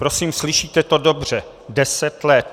Prosím, slyšíte to dobře, deset let.